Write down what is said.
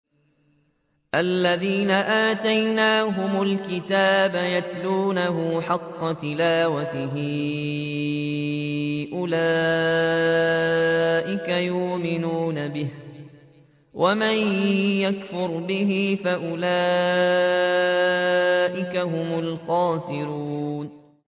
الَّذِينَ آتَيْنَاهُمُ الْكِتَابَ يَتْلُونَهُ حَقَّ تِلَاوَتِهِ أُولَٰئِكَ يُؤْمِنُونَ بِهِ ۗ وَمَن يَكْفُرْ بِهِ فَأُولَٰئِكَ هُمُ الْخَاسِرُونَ